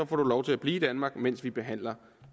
du lov til at blive i danmark mens vi behandler